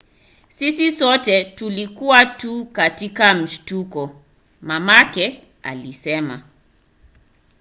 "sisi sote tulikuwa tu katika mshtuko, mamake alisema